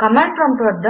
command prompt వద్ద